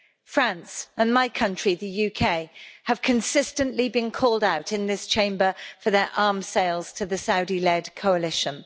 France and my country, the UK, have consistently been called out in this Chamber for their arms sales to the Saudi led coalition.